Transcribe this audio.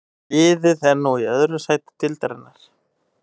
Liðið er nú í öðru sæti deildarinnar.